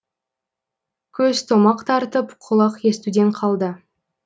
көз томақ тартып құлақ естуден қалды